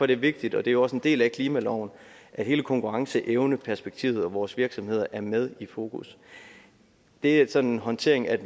det vigtigt og det er også en del af klimaloven at hele konkurrenceevneperspektivet og vores virksomheder er med i fokus det er sådan håndteringen af